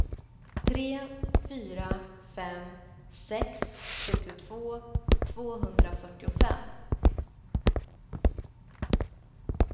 tre fyra fem sex sjuttiotvå tvåhundrafyrtiofem